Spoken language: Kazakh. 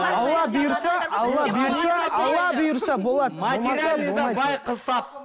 алла бұйырса алла бұйырса алла бұйырса болады материальный да бай қыз тап